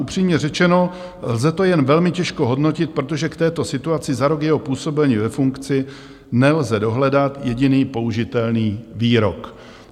Upřímně řečeno, lze to jen velmi těžko hodnotit, protože k této situaci za rok jeho působení ve funkci nelze dohledat jediný použitelný výrok.